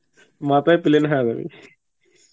মাথাই plane হযয়া যাবে